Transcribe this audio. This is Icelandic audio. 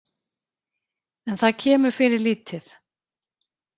En það kemur fyrir lítið.